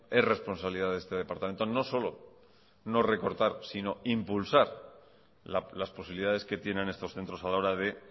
es responsabilidad de este departamento no solo no recortar sino impulsar las posibilidades que tienen estos centros a la hora de